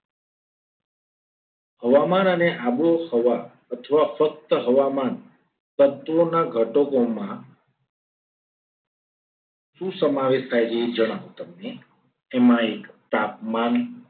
હવામાન અને આબોહવા અથવા ફક્ત હવામાન તત્વોના ઘટકોમાં શું સમાવેશ થાય છે. એ જણાવો તમને એમાં એક તાપમાન